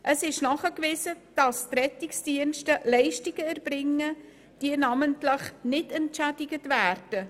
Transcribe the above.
Es ist nachgewiesen, dass die Rettungsdienste Leistungen erbringen, die nicht entschädigt werden.